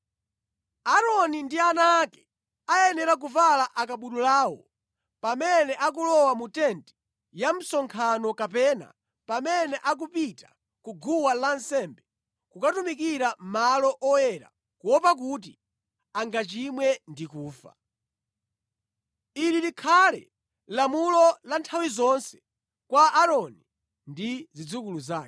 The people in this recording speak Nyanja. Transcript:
Aaroni ndi ana ake ayenera kuvala akabudulawo pamene akulowa mu tenti ya msonkhano kapena pamene akupita ku guwa lansembe kukatumikira malo oyera kuopa kuti angachimwe ndi kufa. “Ili likhale lamulo la nthawi zonse kwa Aaroni ndi zidzukulu zake.”